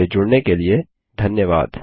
हमसे जुड़ने के लिए धन्यवाद